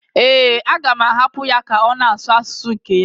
Ee, a ga-ahapụ ya ka ọ na-asụ asụsụ nke ya?